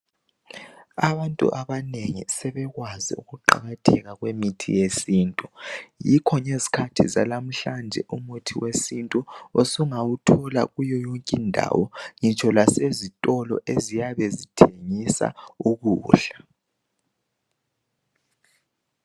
Abantu abanengi sebekwazi ukuqakatheka kwemithi yesintu yikho ngezikhathi zanamhlanje umuthi wesintu usungawuthola kuyo yonke indawo ngitsho lasezitolo eziyabe zithengisa ukudla